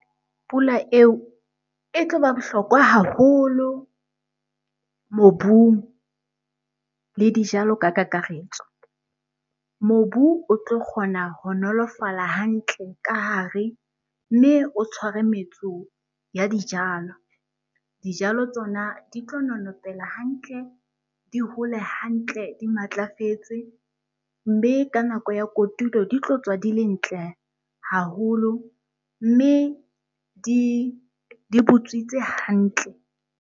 Pula eo e tlo ba bohlokwa haholo mobung le dijalo ka kakaretso. Mobu o tlo kgona ho nolofala hantle ka hare mme o tshware metso ya dijalo. Dijalo tsona di tlo nonopela hantle, di hole hantle di matlafetse. Mme ka nako ya kotulo di tlo tswa di le ntle haholo mme di butswitse hantle.